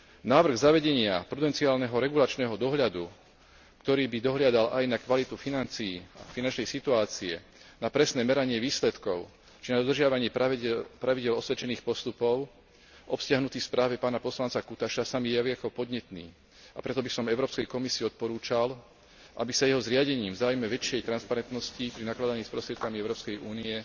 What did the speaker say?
Návrh zavedenia potenciálneho regulačného dohľadu, ktorý by dohliadal aj na kvalitu financií, finančnej situácie, na presné meranie výsledkov či na dodržiavanie pravidiel osvedčených postupov obsiahnutých v správe pána poslanca Cutaşa, sa mi javí ako podnetný, a preto by som Európskej komisii odporúčal, aby sa jeho zriadením v záujme väčšej transparentnosti pri nakladaní s prostriedkami Európskej únie